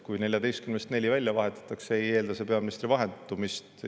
Kui 14 ministrist neli välja vahetatakse, ei eelda see peaministri vahetumist.